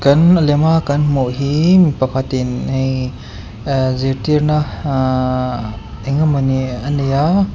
an a lema kan hmuh hi mipakhatin ii e zirtirna aa engemawni a nei a.